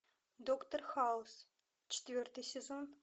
доктор хаус четвертый сезон